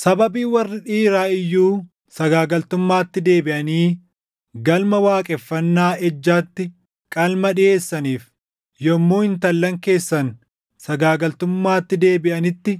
“Sababii warri dhiiraa iyyuu sagaagaltummaatti deebiʼanii galma waaqeffannaa ejjaatti qalma dhiʼeessaniif, yommuu intallan keessan sagaagaltummaatti deebiʼanitti